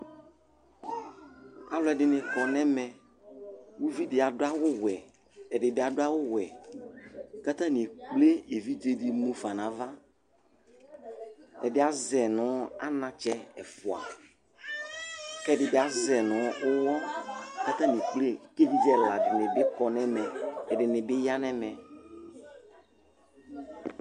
Alʋɛdìní kɔ nʋ ɛmɛ Ʋvidí adu awu wɛ Ɛdí bi adu awu wɛ kʋ atani ekple evidze di mʋfa nu ava Ɛdí azɛ nu anatsɛ ɛfʋa kʋ ɛdí bi azɛ nʋ ʋwɔ kʋ atani ekple kʋ evidze ɛla dìní bi kɔ nʋ ɛmɛ Ɛdiní bi ya nʋ ɛmɛ